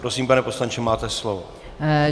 Prosím, pane poslanče, máte slovo.